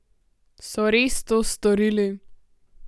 So res to storili?